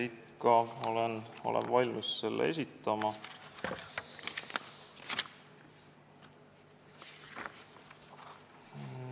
Ikka olen valmis esitama.